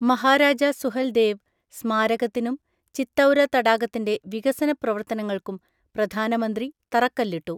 മഹാരാജ സുഹൽദേവ് സ്മാരകത്തിനും ചിത്തൌര തടാകത്തിന്റെ വികസന പ്രവർത്തനങ്ങൾക്കും പ്രധാനമന്ത്രി തറക്കല്ലിട്ടു